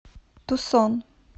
тусон